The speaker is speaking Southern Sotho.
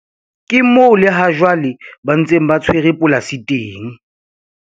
Ke moo le hajwale ba ntseng ba tshwere polasi teng.